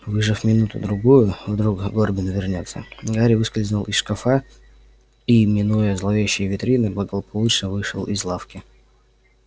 выждав минуту-другую вдруг горбин вернётся гарри выскользнул из шкафа и минуя зловещие витрины благополучно вышел из лавки